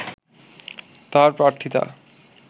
তার প্রার্থীতা